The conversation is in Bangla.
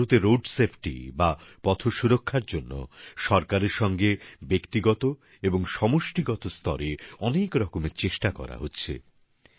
আজ ভারতে রোড সেফটি বা পথ সুরক্ষার জন্য সরকারের সঙ্গে ব্যক্তিগত এবং সমষ্টিগত স্তরে অনেক রকমের চেষ্টা করা হচ্ছে